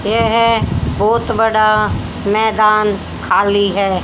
यह बहोत बड़ा मैदान खाली है।